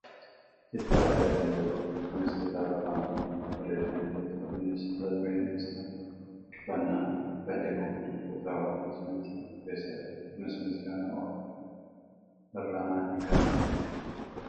kitaa argaa kan jirrudha kunis kitaaba faan oromoon barreeffame yoo ta'u innis mata dureen isaa "dhikkifannaa" kan jedhuufi kuusaa walaloo saayiinsii kan of keessaa qabudha. kunis Misgaanuu Oolummaa Irranaatiin kan barreeffamedha.